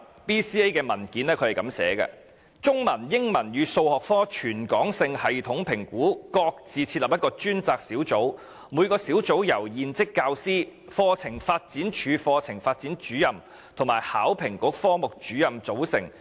BCA 的文件指出，"中文、英文與數學科全港性系統評估各自設立一個專責小組，每個小組由現職教師、課程發展處課程發展主任與香港考試及評核局科目主任組成。